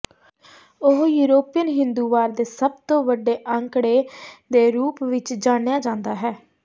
ਉਹ ਯੂਰਪੀਅਨ ਹਿੰਦੂਵਾਦ ਦੇ ਸਭ ਤੋਂ ਵੱਡੇ ਅੰਕੜੇ ਦੇ ਰੂਪ ਵਿੱਚ ਜਾਣਿਆ ਜਾਂਦਾ ਹੈ